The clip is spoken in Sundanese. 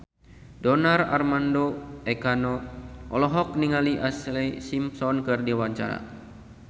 Donar Armando Ekana olohok ningali Ashlee Simpson keur diwawancara